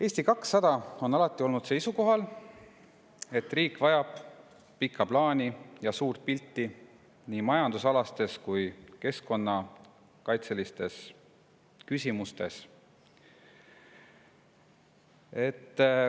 Eesti 200 on alati olnud seisukohal, et riik vajab pikka plaani ja suurt pilti nii keskkonnakaitselistes kui ka majandusküsimustes.